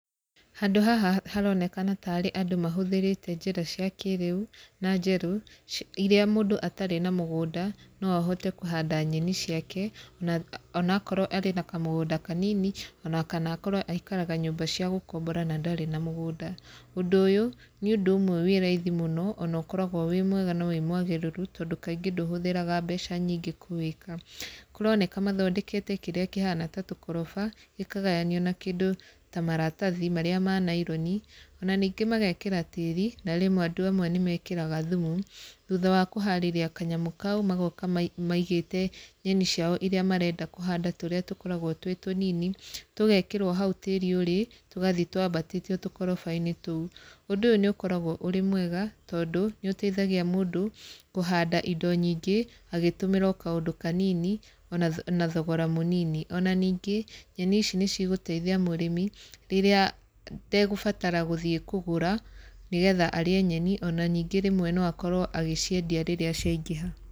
Handũ haha haronekana tarĩ andũ mahũthĩrite njĩra cia kĩrĩu, na njerũ, irĩa mũndũ atarĩ na mũgũnda, no ahote kũhanda nyeni ciake na ona akorwo arĩ na kamũgũnda kanini, ona kana akorwo aikaraga nyũmba cia gũkombora na ndarĩ na mũgũnda. Ũndũ ũyũ, nĩ ũndũ ũmwe wĩ raithi mũno, ona ũkoragwo wĩ mwega na wĩ mwagĩrĩru tondũ kaingĩ ndũhũthiraga mbeca nyingĩ kũwĩka. Kũroneka mathondekete kĩrĩa kĩhana ta tũkoroba, gĩkagayanio na kĩndũ ta maratathi marĩa ma naironi, ona ningĩ magekĩra tĩri na rĩmwe andũ amwe nĩ mekĩraga thumu, thutha wa kũharĩria kanyamũ kau, magoka maigĩte nyeni ciao irĩa marenda kũhanda tũrĩa tũkoragwo twĩ tũnini, tũgekĩrwo hau tĩri ũrĩ, tũgathi twambatĩtio tũkoroba-inĩ tũu. Ũndũ ũyũ nĩ ũkoragwo ũrĩ mwega tondũ, nĩ ũteithagia mũndũ kũhanda indo nyingĩ, agĩtũmĩra o kaũndũ kanini, ona na thogora mũnini. Ona ningĩ nyeni ici nĩ cigũteithia mũrĩmi, rĩrĩa ndegũbatara gũthiĩ kũgũra, nĩ getha arĩe nyeni ona ningĩ rĩmwe no akorwo agĩciendia rĩrĩa ciangĩha.